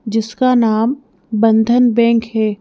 जिसका नाम बंधन बैंक है।